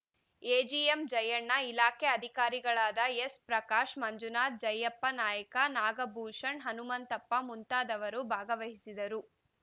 AGM Jayanna ಇಲಾಖೆ ಅಧಿಕಾರಿಗಳಾದ ಎಸ್‌ಪ್ರಕಾಶ್‌ ಮಂಜುನಾಥ ಜಯಪ್ಪ ನಾಯ್ಕ ನಾಗಭೂಷನ್‌ ಹನುಮಂತಪ್ಪ ಮುಂತಾದವರು ಭಾಗವಹಿಸಿದರು